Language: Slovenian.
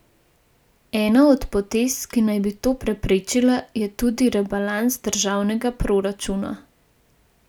Ena od potez, ki naj bi to preprečila, je tudi rebalans državnega proračuna.